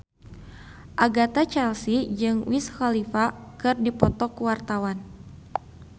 Agatha Chelsea jeung Wiz Khalifa keur dipoto ku wartawan